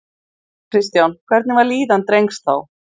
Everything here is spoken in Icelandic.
Kristján: Hvernig var líðan drengs þá?